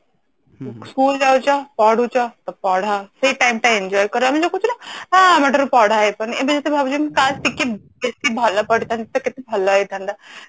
school ଯାଉଛ ପଢୁଛ ତ ପଢ ସେଇ time ଟା enjoy କର ଆମେ ଯୋଉ କହୁଛୁ ନା ହଁ ଆମ ଦ୍ଵାରା ପଢା ହେଇପାରୁନି ଏବେ କିନ୍ତୁ ଭାବୁଛି କାସ ଟିକେ ବେଶୀ ଭଲ ପଢିଥାନ୍ତି ତ କେତେ ଭଲ ହେଇଥାନ୍ତା